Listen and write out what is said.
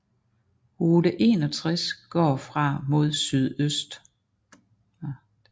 Route 61 går fra mod sydøst